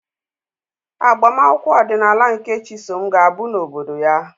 Agbamakwụkwọ ọdịnala nke Chisom ga-abụ n'obodo ya.